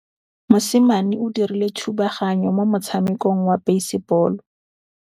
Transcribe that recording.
Mosimane o dirile thubaganyô mo motshamekong wa basebôlô.